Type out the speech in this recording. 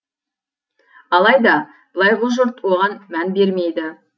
алайда былайғы жұрт оған мән бермейді